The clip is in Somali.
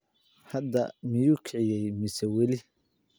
Hadda miyuu kiciyey mise weli?